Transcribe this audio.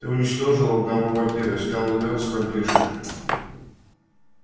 ты уничтожил одного вампира снял лёд с вампирши